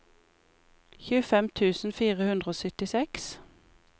tjuefem tusen fire hundre og syttiseks